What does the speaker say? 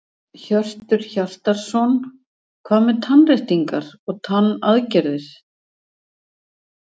Hjörtur Hjartarson: Hvað með tannréttingar og tannaðgerðir?